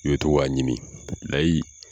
i bɛ to k'a ɲimi layi.